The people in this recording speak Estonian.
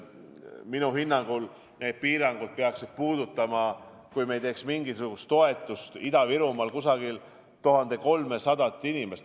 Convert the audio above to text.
Minu hinnangul need piirangud peaksid puudutama – kui me ei teeks mingisugust toetust Ida-Virumaal – umbes 1300 inimest.